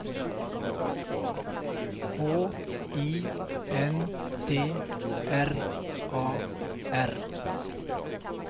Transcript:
H I N D R A R